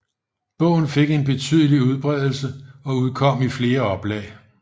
Bogen fik en betydelig udbredelsen og udkom i flere oplag